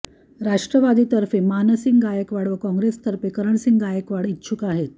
राष्ट्रवादीतर्फे मानसिंग गायकवाड व काँग्रेसतर्फे करणसिंग गायकवाड इच्छुक आहेत